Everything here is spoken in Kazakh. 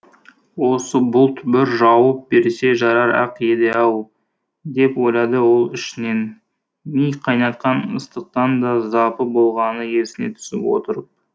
осы бұлт бір жауып берсе жарар ақ еді ау деп ойлады ол ішінен ми қайнатқан ыстықтан да запы болғаны есіне түсіп отырып